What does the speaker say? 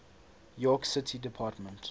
york city department